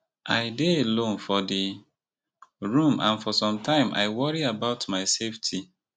i dey alone for di room and for some time i worry about my safety